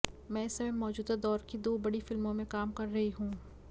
मैं इस समय मौजूदा दौर की दो बड़ी फिल्मों में काम कर रही हूं